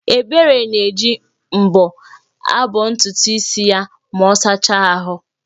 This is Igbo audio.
Ebere na-eji mbọ̀ abọntutu isi ya ma ọ sacha ahụ́